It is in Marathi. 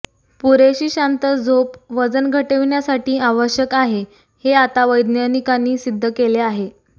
पुरेशी शांत झोप वजन घटविण्यासाठी आवश्यक आहे हे आता वैज्ञानिकांनी सिद्ध केलेले आहे